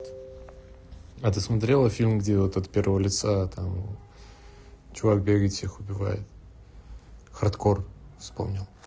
а ты смотрела фильм где вот от первого лица а там чувак бегает всех убивает хардкор вспомнил